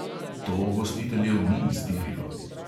To gostiteljev ni iztirilo.